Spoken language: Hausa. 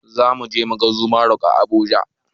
Zamuje muga aso rok a habuja